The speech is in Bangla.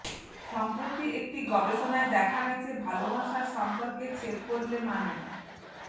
সম্প্রতি একটি গবেষণায় দেখা গেছে ভালবাসার সম্পর্কে ছেদ পরলে মানে